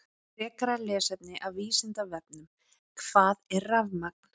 Frekara lesefni af Vísindavefnum: Hvað er rafmagn?